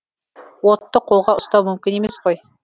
отты қолға ұстау мүмкін емес қой